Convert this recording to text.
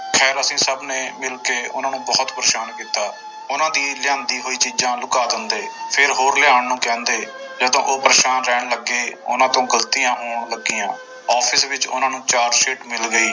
ਖੈਰ ਅਸੀਂ ਸਭ ਨੇ ਮਿਲ ਕੇ ਉਹਨਾਂ ਨੂੰ ਬਹੁਤ ਪਰੇਸਾਨ ਕੀਤਾ, ਉਹਨਾਂ ਦੀ ਲਿਆਂਦੀ ਹੋਈ ਚੀਜ਼ਾਂ ਲੁਕਾ ਦਿੰਦੇ ਫਿਰ ਹੋਰ ਲਿਆਉਣ ਨੂੰ ਕਹਿੰਦੇ ਜਦੋਂ ਉਹ ਪਰੇਸਾਨ ਰਹਿਣ ਲੱਗੇ ਉਹਨਾਂ ਤੋਂ ਗ਼ਲਤੀਆਂ ਹੋਣ ਲੱਗੀਆਂ office ਵਿੱਚ ਉਹਨਾਂ ਨੂੰ charge sheet ਮਿਲ ਗਈ।